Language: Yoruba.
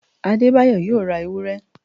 Adebayo yóò ra ewúré